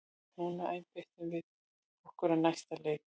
Núna einbeitum við okkur að næsta leik!